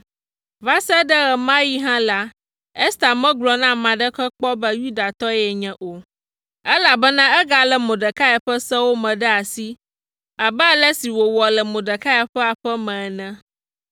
Va se ɖe ɣe ma ɣi hã la, Ester megblɔ na ame aɖeke kpɔ be Yudatɔe yenye o, elabena egalé Mordekai ƒe sewo me ɖe asi abe ale si wòwɔ le Mordekai ƒe aƒe me ene.